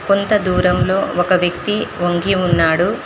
కొంత దూరంలో ఒక వ్యక్తి ఒంగి ఉన్నాడు.